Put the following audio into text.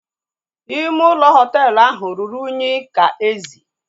Ime ụlọ hoteelu ahụ ruru unyi ka ezi